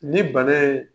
Ni bana ye